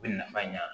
U bɛ nafa ɲan